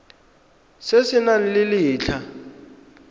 se se nang le letlha